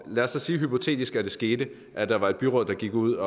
lad os så sige hypotetisk at det skete at der var et byråd der gik ud